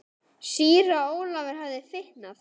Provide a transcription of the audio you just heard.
Síra Ólafur hafði fitnað.